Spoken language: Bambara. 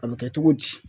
A bɛ kɛ cogo di